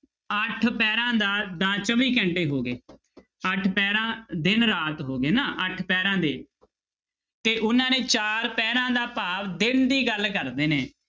ਅੱਠ ਪਹਿਰਾਂ ਦਾ, ਦਾ ਚੌਵੀ ਘੰਟੇ ਹੋ ਗਏ ਅੱਠ ਪਹਿਰਾਂ ਦਿਨ ਰਾਤ ਹੋ ਗਏ ਨਾ ਅੱਠ ਪਹਿਰਾਂ ਦੇ ਤੇ ਉਹਨਾਂ ਨੇ ਚਾਰ ਪਹਿਰਾਂ ਦਾ ਭਾਵ ਦਿਨ ਦੀ ਗੱਲ ਕਰਦੇ ਨੇ।